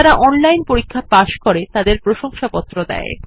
যারা অনলাইন পরীক্ষা পাস করে তাদের প্রশংসাপত্র দেয়